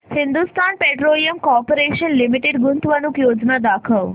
Hindustan petroleum corporation limited गुंतवणूक योजना दाखव